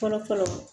Fɔlɔ fɔlɔ